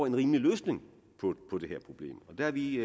en rimelig løsning på det her problem og der har vi